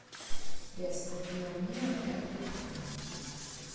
средство био мио для кухни